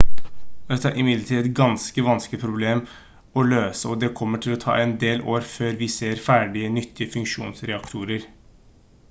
dette er imidlertid et ganske vanskelig problem å løse og det kommer til å ta en del år før vi ser ferdige nyttige fusjonsreaktorer